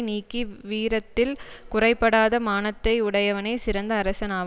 நீக்கி வீரத்தில் குறைபடாத மானத்தை உடையவனே சிறந்த அரசன் ஆவான்